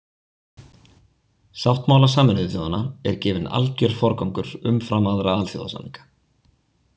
Sáttmála Sameinuðu þjóðanna er gefinn alger forgangur umfram aðra alþjóðasamninga.